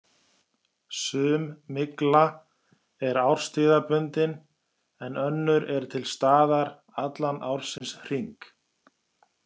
Sum mygla er árstíðabundin en önnur er til staðar allan ársins hring.